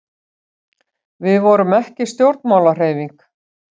við vorum ekki stjórnmálahreyfing